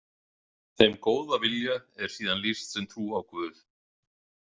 Þeim góða vilja er síðan lýst sem trú á Guð.